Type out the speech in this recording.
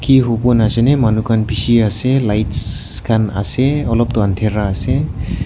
e hubon asene manu khan besi ase lights khan ase alop toh andhera ase.